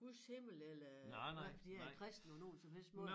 Guds himmel eller nej fordi jeg er kristen på nogen som helst måde